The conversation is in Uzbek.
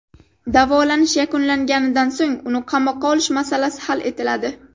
Davolanish yakunlanganidan so‘ng uni qamoqqa olish masalasi hal etiladi.